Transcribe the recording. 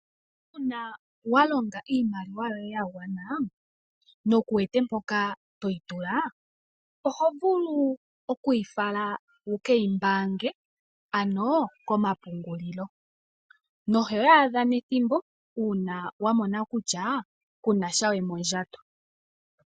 Uuna wa longa iimaliwa yoye ya gwana ndele kuwete mpoka toyi tula oho vulu okuyi fala wu ke yi mbaange ano komapungulilo noho yaadha nethimbo uuna wa mona kutya kuna sha we mondjato.